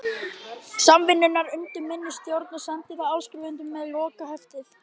Samvinnunnar undir minni stjórn og sendi það áskrifendum með lokaheftinu.